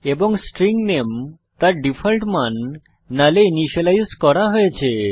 এবং string name তার default মান নাল এ ইনিসিয়েলাইজ করা হয়েছে